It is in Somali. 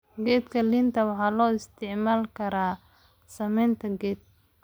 Khadka liinta waxay loo isticmaali karaa samaynta keeg.